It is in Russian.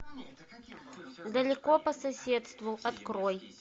далеко по соседству открой